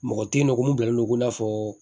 Mɔgɔ tɛ yen nɔ ko mun bilalen don ko n'a fɔ